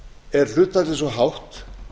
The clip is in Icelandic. er hlutfallið svo hátt